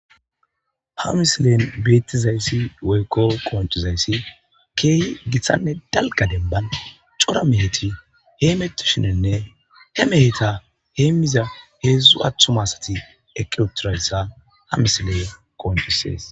Ha misilen beettizayssi woykko qoncizayssi keehi giththanne dalga demban cora meheti hee metti shinenne he meheta heem miza heedzdzu athumasati eqiuturayssa ha misileya qoncisees.